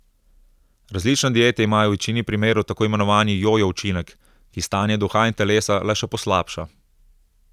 Različne diete imajo v večini primerov tako imenovani jojo učinek, ki stanje duha in telesa le še poslabša.